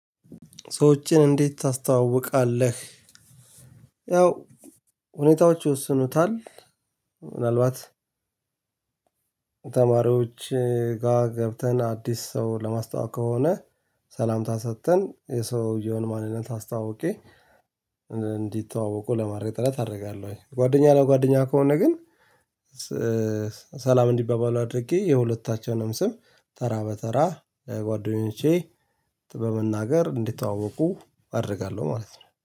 ሰዎችን እንዴት ታስተዋውቃለህ? ያው ሁኔታዎች ይዎስኑታል ምናልባት ተማሪዎች ጋ ገብተን አዲስ ሰው ለማስተዋወቅ ከሆነ ሰላምታን ሰጥተን የሰውየውን ማንነት ኣስተዋዊቄ እንዲ ተዋወቁ ለማድረግ ጥረት አደርጋለሁኝ ጋደኛ ለጋደኛ ከሆነ ግን ሰላም እንዲባባሉ አድርጌ የሁለታቸውን ስም ታራ በ ታራ ለጋደኞቸቾቼ በመናገር እንዲ ተዋወቁ አደርጋለሁ ማለት ነው።